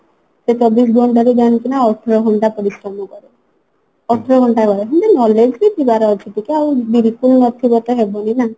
ସେ ଚବିଶ ଘଣ୍ଟାରୁ ଜାଣିଛୁ ନା ଅଠର ଘଣ୍ଟା ପରିଶ୍ରମ କରେ ଅଠର ଘଣ୍ଟା ରହେ ସେମିତି knowledge ବି ଥିବାର ଅଛି ଟିକେ ଆଉ ବିଲକୁଲ ନଥିବ ତ ହେବନି ନା